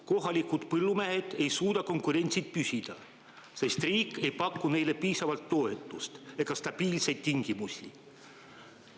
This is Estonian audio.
Kohalikud põllumehed ei suuda konkurentsis püsida, sest riik ei paku neile piisavalt toetust ega stabiilseid tingimusi.